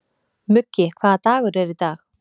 Muggi, hvaða dagur er í dag?